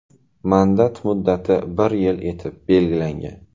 Mandat muddati bir yil etib belgilangan.